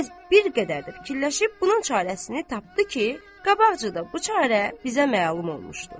Qərəz, bir qədər də fikirləşib bunun çarəsini tapdı ki, qabaqcada bu çarə bizə məlum olmuşdu.